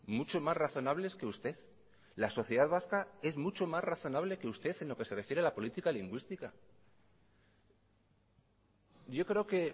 mucho más razonables que usted la sociedad vasca es mucho más razonable que usted en lo que se refiere a la política lingüística yo creo que